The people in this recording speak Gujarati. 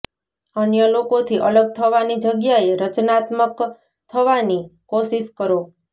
અન્ય લોકોથી અલગ થવાની જગ્યાએ રચનાત્મક થવાની કોશિશ કરો